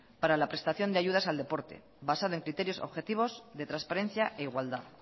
para la prestación de ayudas al deporte basado en criterios objetivos de transparencia e igualdad